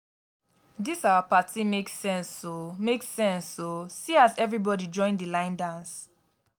dis our party make sense o make sense o see as everybody join di line dance.